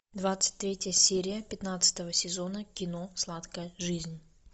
двадцать третья серия пятнадцатого сезона кино сладкая жизнь